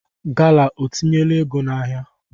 Gala o tinyela ego n'ahịa?